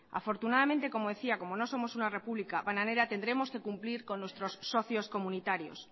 afortunadamente como decía como no somos una república bananera tendremos que cumplir con nuestros socios comunitarios